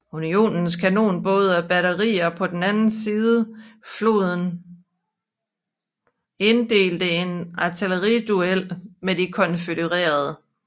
Unionens kanonbåde og batterier på den anden side floden indledte en artilleriduel med de konfødererede